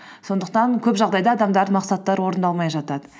сондықтан көп жағдайда адамдардың мақсаттары орындалмай жатады